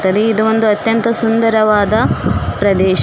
ತರಿ ಇದು ಒಂದು ಅತ್ಯಂತ ಸುಂದರವಾದ ಪ್ರದೇಶ.